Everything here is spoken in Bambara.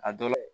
A dɔ